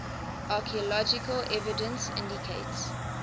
archaeological evidence indicates